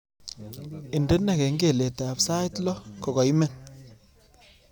Indene kengeletab sait loo kogaimen